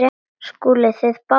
SKÚLI: Þið báðir?